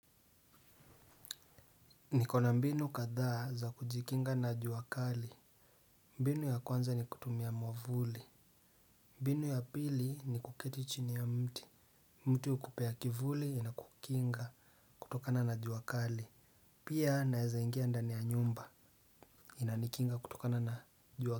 Niko na mbinu kadhaa za kujikinga na jua kali. Mbinu ya kwanza ni kutumia mwavuli. Mbinu ya pili ni kuketi chini ya mti. Mti hukupea kivuli ina kukinga kutokana na jua kali. Pia naeza ingia ndani ya nyumba inanikinga kutokana na jua.